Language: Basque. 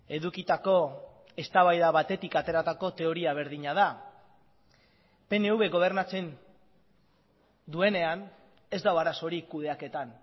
edukitako eztabaida batetik ateratako teoria berdina da pnv gobernatzen duenean ez dago arazorik kudeaketan